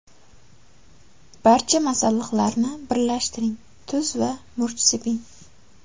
Barcha masalliqlarni birlashtiring, tuz va murch seping.